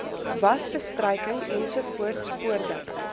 wasbestryking ens voordat